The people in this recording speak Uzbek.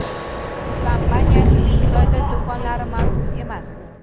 Ushbu kompaniyaning Xitoyda do‘konlari mavjud emas.